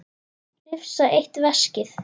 Hrifsa eitt veskið.